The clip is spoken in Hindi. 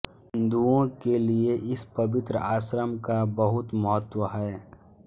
हिन्दुओं के लिए इस पवित्र आश्रम का बहुत महत्व है